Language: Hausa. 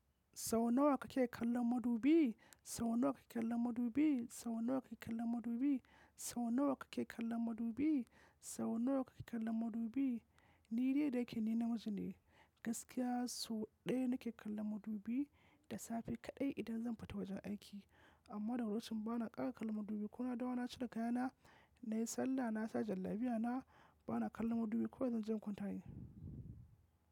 Sau nawa kake kallon madubi? Sau nawa kake kallon madubi? Sau nawa kake kallon madubi? Sau nawa kake kallon madubi? Sau nawa kake kallon madubi? Ni dai da ya kene na miji ne, gaskiya sau ɗaya nake kallon madubi da safe kaɗai idan zan fita wajen aiki. Amma daga locin bana ƙara kallon madubi ko na dawo na cire kayana, nai sallah, nasa jan lafiyana bana kallon madubi kawai zan je kwantaye.